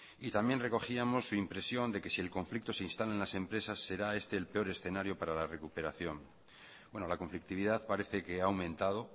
y también recogíamos la impresión de que si el conflicto se instala en las empresas será este el peor escenario para la recuperación la conflictividad parece que ha aumentado